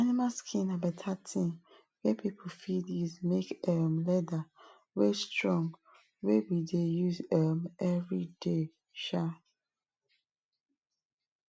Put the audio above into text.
animal skin na better thing wey people fit use make um leather wey strong wey we dey use um everyday um